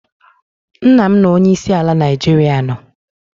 Nna' m na onye isi ala Naijiria nọ